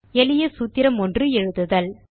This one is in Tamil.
எளிய சூத்திரம் ஒன்று எழுதுதல்